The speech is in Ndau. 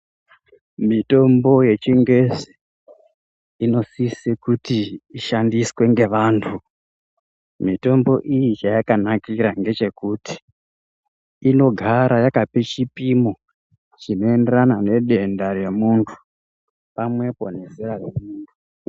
Mitombo yechingezi inosise kuti ishandiswe ngevantu. Mitombo iyi chayakanakira ngechokuti inogara yakape chipimo chinoendera nedenda romuntu, pamwepo nezera remuntu.